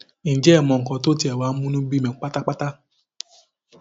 ǹjẹ ẹ mọ nǹkan tó tiẹ wáá mú inú bí mi pátápátá